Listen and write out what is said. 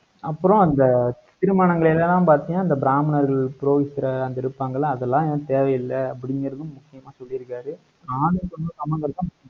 அப்புறம், அந்த திருமணங்களையெல்லாம் பார்த்தீங்கன்னா, அந்த பிராமணர்கள் அங்க இருப்பாங்கல்ல அதெல்லாம் ஏன் தேவை இல்லை அப்படிங்கறதும் முக்கியமா சொல்லிருக்காரு. ஆணும் பெண்ணும் சமம்கிறதை